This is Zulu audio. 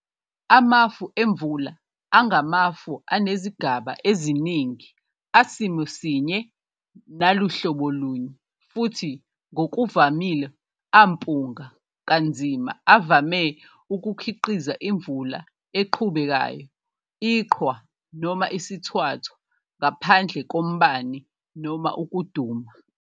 Amafemvula angamafu anezigaba eziningi, asimosinye naluhlobolunye, futhi ngokuvamile ampunga kanzima, avame ukukhiqiza imvula eqhubekayo, iqhwa, noma isithwathwa, ngaphandle kombani noma ukuduma.